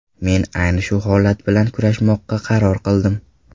Men ayni shu holat bilan kurashmoqqa qaror qildim.